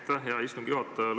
Aitäh, hea istungi juhataja!